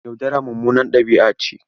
Yaudara mummunar ɗabi'a ce.